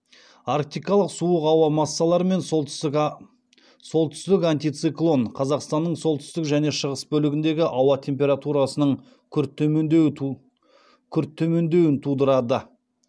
арктикалық суық ауа массаларымен солтүстік антициклон қазақстанның солтүстік және шығыс бөлігіндегі ауа температурасының күрт төмендеуін тудырады